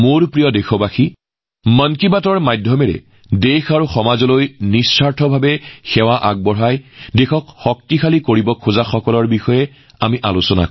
মোৰ প্ৰিয় দেশবাসীসকল মন কী বাতত আমি সমাজ আৰু দেশক শক্তিশালী কৰাৰ বাবে নিস্বাৰ্থভাৱে কাম কৰা এনে দেশবাসীৰ প্ৰচেষ্টাক আলোকপাত কৰি আহিছো